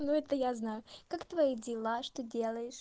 ну это я знаю как твои дела что делаешь